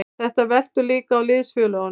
Þetta veltur líka á liðsfélögunum.